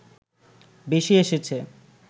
বেশি এসেছে